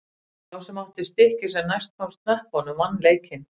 Sá sem átti stikkið sem næst komst hnöppunum vann leikinn.